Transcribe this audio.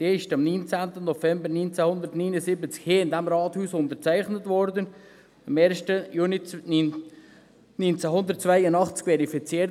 Sie wurde am 19. November 1979 hier in diesem Rathaus unterzeichnet und am 1. Juni 1982 ratifiziert.